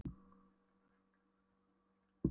Gólfhellurnar í fordyrinu voru rauðar, úr Hólabyrðu.